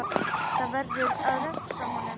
Það verður að refsa honum!